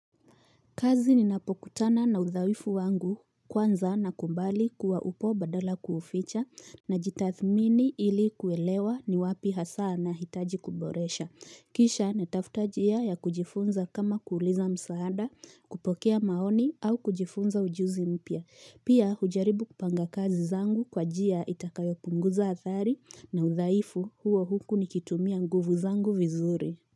Kazi ninapokutana na udhaifu wangu kwanza nakubali kuwa upo badala ya kuuficha, najitathmini ili kuelewa ni wapi hasa nahitaji kuboresha. Kisha natafuta njia ya kujifunza kama kuuliza msaada, kupokea maoni au kujifunza ujuzi mpya. Pia hujaribu kupanga kazi zangu kwa njia itakayo punguza athari na udhaifu huo huku nikitumia nguvu zangu vizuri.